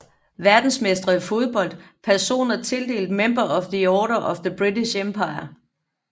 Verdensmestre i fodbold Personer tildelt Member of the Order of the British Empire